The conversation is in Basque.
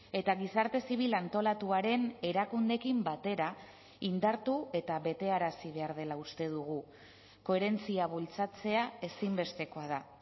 eta gizarte zibil antolatuaren erakundeekin batera indartu eta betearazi behar dela uste dugu koherentzia bultzatzea ezinbestekoa da